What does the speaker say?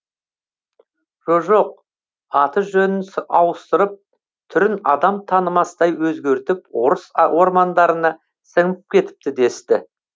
жо жоқ аты жөнін ауыстырып түрін адам танымастай өзгертіп орыс ормандарына сіңіп кетіпті десті